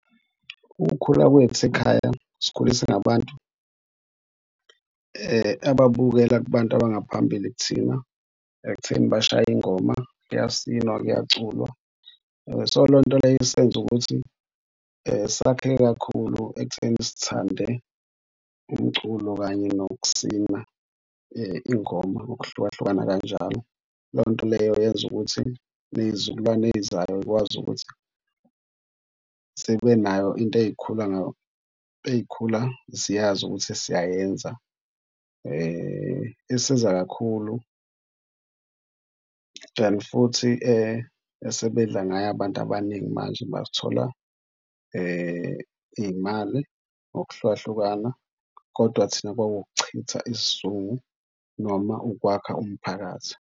Ukukhula kwethu ekhaya sikhule ngabantu ababukela kubantu abangaphambili kuthina ekutheni bashaye ingoma, kuyasinwa, kuyaculwa. So, lonto leyo isenze ukuthi sakheke kakhulu ekutheni sithande umculo kanye nokusina ingoma ngokuhlukahlukana kanjalo. Loyo nto leyo yenza ukuthi ney'zukulwane ezizayo y'kwazi ukuthi zibe nayo into ey'khula ey'khula ziyazi ukuthi siyayenza. Isiza kakhulu and futhi esebedla ngayo abantu abaningi manje bathola iy'mali ngokuhlukahlukana kodwa thina kwakuwukuchitha isizungu noma ukwakha umphakathi.